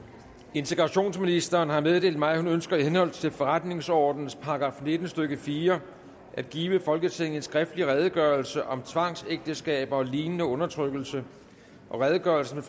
integrationsministeren har meddelt mig at hun ønsker i henhold til forretningsordenens § nitten stykke fire at give folketinget en skriftlig redegørelse om tvangsægteskaber og lignende undertrykkelse redegørelsen